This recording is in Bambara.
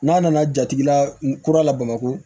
N'a nana jatigila n kura la bamakɔ